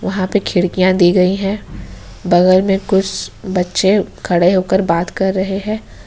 वहां पे खिड़कियां दी गई हैं बगल में कुछ बच्चे खड़े होकर बात कर रहे हैं।